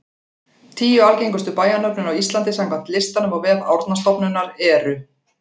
Tíu algengustu bæjarnöfnin á Íslandi samkvæmt listanum á vef Árnastofnunar eru: